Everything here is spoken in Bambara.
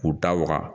K'u da waga